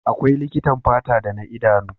Akwai likitan fata da na idanu.